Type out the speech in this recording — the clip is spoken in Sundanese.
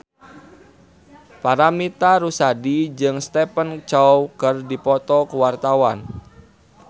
Paramitha Rusady jeung Stephen Chow keur dipoto ku wartawan